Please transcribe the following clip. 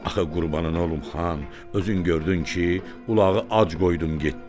Axı qurbanın olum xan, özün gördün ki, ulağı ac qoydum getdim.